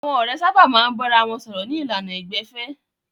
Àwọn ọ̀rẹ́ sábà máa ń bára wọn sọ̀rọ̀ ní ìlànà ìgbẹ̀fẹ́.